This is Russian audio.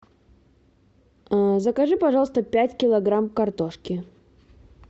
закажи пожалуйста пять килограмм картошки